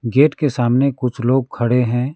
Gate के सामने कुछ लोग खड़े हैं।